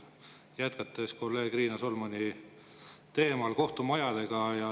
Jätkan kolleeg Riina Solmani teemal, kohtumajadega.